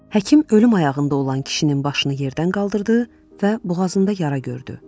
Həkim ölüm ayağında olan kişinin başını yerdən qaldırdı və boğazında yara gördü.